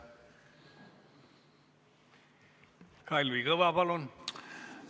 Kalvi Kõva, palun!